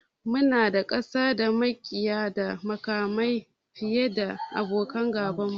Muna da ƙasa da maƙiya da makamai fiye da abokan gaba